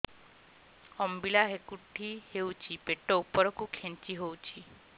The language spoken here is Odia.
ଅମ୍ବିଳା ହେକୁଟୀ ହେଉଛି ପେଟ ଉପରକୁ ଖେଞ୍ଚି ହଉଚି